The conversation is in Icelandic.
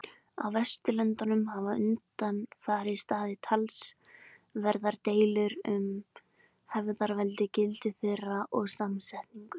Á Vesturlöndum hafa undanfarið staðið talsverðar deilur um hefðarveldi, gildi þeirra og samsetningu.